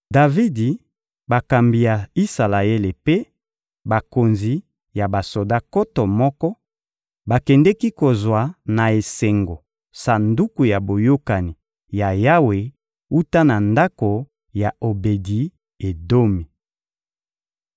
Davidi, bakambi ya Isalaele mpe bakonzi ya basoda nkoto moko bakendeki kozwa na esengo Sanduku ya Boyokani ya Yawe wuta na ndako ya Obedi-Edomi.